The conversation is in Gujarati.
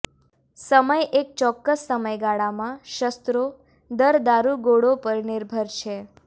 સમય એક ચોક્કસ સમયગાળામાં શસ્ત્રો દર દારૂગોળો પર નિર્ભર છે